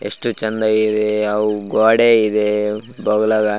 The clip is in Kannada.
ಎಷ್ಟು ಚೆಂದ ಇದೆ ಅವು ಗೋಡೆ ಇದೆ ಬಾಗಲಗ --